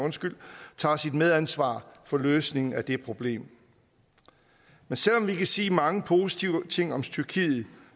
tager sit medansvar for løsningen af det problem men selv om vi kan sige mange positive ting om tyrkiet